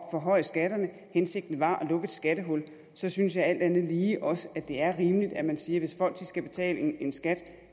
at forhøje skatterne hensigten var at lukke et skattehul så synes jeg alt andet lige også at det er rimeligt at man siger at hvis folk skal betale en skat